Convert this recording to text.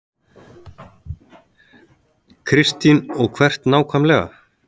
Kristín: Og hvert nákvæmlega?